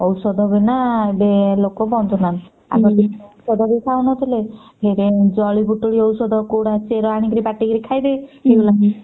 ଔଷଧ ବିନା ଏବେ ଲୋକ ବଞ୍ଚୁ ନାହାନ୍ତି ବି ଖାଉନଥିଲେ ଏବେ ଜଡିବୁଟି ଔଷଧ କୋଉଟା ଆଣିକି ବାଟି କି ଖାଇଦେ